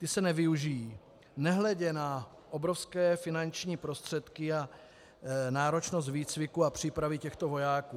Ty se nevyužijí, nehledě na obrovské finanční prostředky a náročnost výcviku a přípravy těchto vojáků.